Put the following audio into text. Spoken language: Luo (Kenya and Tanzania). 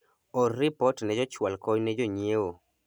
or ripot ne jochwal kony ne jonyiewo